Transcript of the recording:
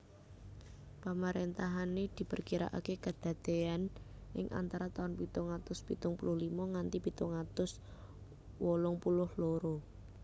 Pamaréntahané diperkiraaké kadadéan ing antara taun pitung atus pitung puluh limo nganti pitung atus wolung puluh loro